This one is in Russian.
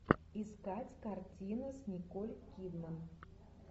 искать картину с николь кидман